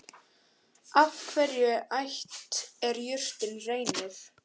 Af hvaða ætt er jurtin Reynir?